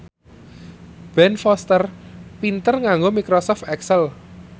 Ben Foster pinter nganggo microsoft excel